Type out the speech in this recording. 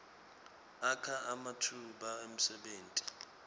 akha ematfuba emsebenti